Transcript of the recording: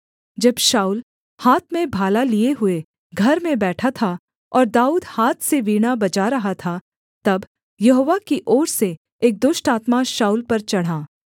जब शाऊल हाथ में भाला लिए हुए घर में बैठा था और दाऊद हाथ से वीणा बजा रहा था तब यहोवा की ओर से एक दुष्ट आत्मा शाऊल पर चढ़ा